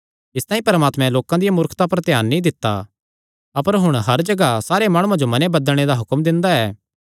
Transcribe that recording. इसतांई परमात्मैं लोकां दिया मूर्खता पर ध्यान नीं दित्ता अपर हुण हर जगाह सारे माणुआं जो मने बदलणे दा हुक्म दिंदा ऐ